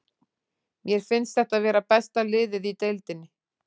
Mér finnst þetta vera besta liðið í deildinni.